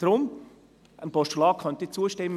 Deshalb könnte ich einem Postulat zustimmen.